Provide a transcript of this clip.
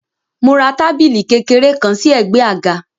Mo ra tábìlì kékeré kan sí ẹ̀gbẹ́ àga.